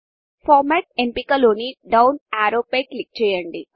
Formatఫార్మాట్ఎంపికలోని down arrow పై click చేయండి